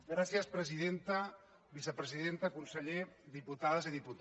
gràcies presidenta vicepresidenta conseller dipu·tades i diputats